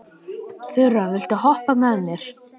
Þura, viltu hoppa með mér?